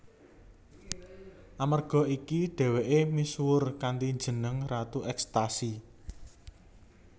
Amerga iki dhèwèké misuwur kanthi jeneng ratu ekstasi